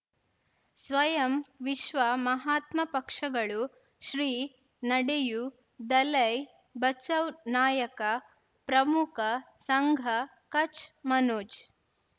ಸ್ವಯಂ ವಿಶ್ವ ಮಹಾತ್ಮ ಪಕ್ಷಗಳು ಶ್ರೀ ನಡೆಯೂ ದಲೈ ಬಚೌ ನಾಯಕ ಪ್ರಮುಖ ಸಂಘ ಕಚ್ ಮನೋಜ್